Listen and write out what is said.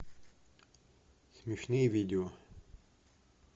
смешные видео